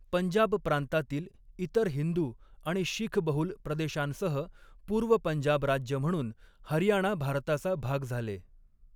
पंजाब प्रांतातील इतर हिंदू आणि शीखबहुल प्रदेशांसह पूर्व पंजाब राज्य म्हणून हरियाणा भारताचा भाग झाले.